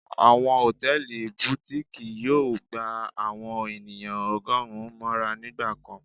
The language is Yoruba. Awọn hòtẹ́ẹ̀lì Butikii yóò gbá àwọn ènìyàn ọgọrùn móra nígbà kán.